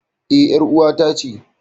E, ƴar ƴar'uwata ce.